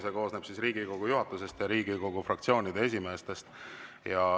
See koosneb Riigikogu juhatusest ja Riigikogu fraktsioonide esimeestest.